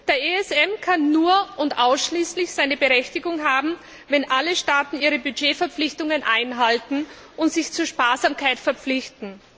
Der ESM kann nur und ausschließlich seine Berechtigung haben, wenn alle Staaten ihre Haushaltsverpflichtungen einhalten und sich zur Sparsamkeit verpflichten.